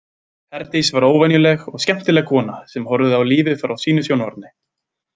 Herdís var óvenjuleg og skemmtileg kona sem horfði á lífið frá sínu sjónarhorni.